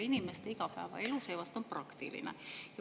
Inimeste igapäevaelu on seevastu praktiline.